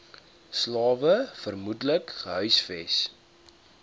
slawe vermoedelik gehuisves